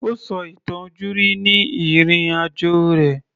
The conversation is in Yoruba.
Ó sọ ìtàn ojúrí ni ìrìn-àjò rẹ̀